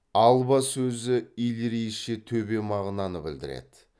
алба сөзі иллирийше төбе мағынаны білдіреді